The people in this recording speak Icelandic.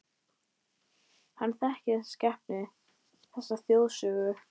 Hann þekkir þessa skepnu, þessa þjóðsögu.